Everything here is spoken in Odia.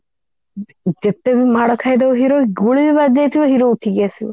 କେତେ ବି ମାଡ ଖାଇଦବ hero ଗୁଳି ବି ବାଜି ଯାଇଥିବ hero ଉଠିକି ଆସିବ